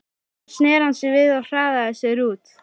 En þá sneri hann sér við og hraðaði sér út.